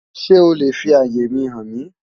Sé o le fi àyè mi hàn mí?